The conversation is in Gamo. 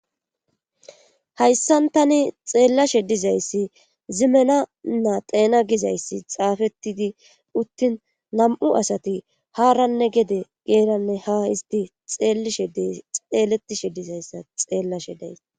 Hayssan tani xeellashe dizayssi zimena naa teena gizayssi xaafetidi uttin nam7u asati haaranne gede geeranne ha isti xeeletishe dizayssa xeellashe days.